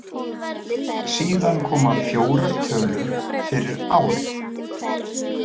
Síðan koma fjórar tölur fyrir árið.